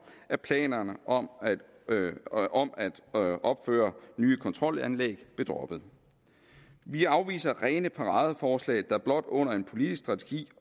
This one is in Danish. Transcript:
at planerne om at om at opføre nye kontrolanlæg blev droppet vi afviser rene paradeforslag der blot under en politisk strategi